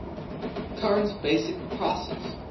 current basic prices